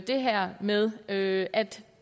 det her med at at